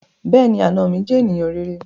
Bẹ́ẹ̀ni, àna mi jẹ́ ènìyàn rere